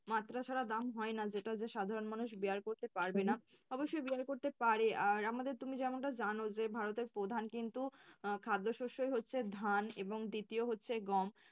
মাত্রা ছাড়া দাম হয়না যেটা হচ্ছে সাধারণ মানুষ bear করতে পারবেনা। অবশ্য bear করতে পারে আর আমাদের তুমি যেমনটা জানো যে ভারতের প্রধান কিন্তু খাদ্য আহ শস্যই হচ্ছে ধান এবং দ্বিতীয় হচ্ছে গম।